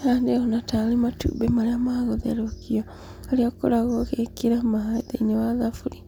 Haha ndĩrona taarĩ matumbĩ marĩa ma gũtherũkio. Harĩa ũkoragwo ũgĩkĩra maaĩ thĩinĩ wa thaburi.